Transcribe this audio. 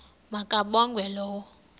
ma kabongwe low